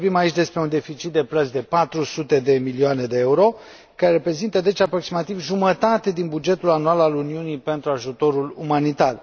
Vorbim aici despre un deficit de plăți de 400 de milioane de EUR, care reprezintă, deci, aproximativ jumătate din bugetul anual al Uniunii pentru ajutorul umanitar.